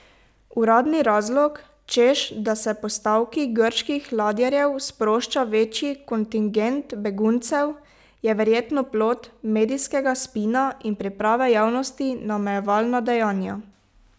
Uradni razlog, češ da se po stavki grških ladjarjev sprošča večji kontingent beguncev, je verjetno plod medijskega spina in priprave javnosti na omejevalna dejanja.